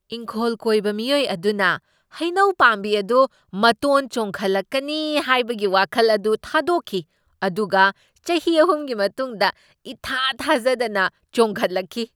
ꯏꯪꯈꯣꯜ ꯀꯣꯏꯕ ꯃꯤꯑꯣꯏ ꯑꯗꯨꯅ ꯍꯩꯅꯧ ꯄꯥꯝꯕꯤ ꯑꯗꯨ ꯃꯇꯣꯟ ꯆꯣꯡꯈꯠꯂꯛꯀꯅꯤ ꯍꯥꯏꯕꯒꯤ ꯋꯥꯈꯜ ꯑꯗꯨ ꯊꯥꯗꯣꯛꯈꯤ, ꯑꯗꯨꯒ ꯆꯍꯤ ꯑꯍꯨꯝꯒꯤ ꯃꯇꯨꯡꯗ ꯏꯊꯥ ꯊꯥꯖꯗꯅ ꯆꯣꯡꯈꯠꯂꯛꯈꯤ꯫